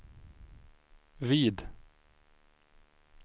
vid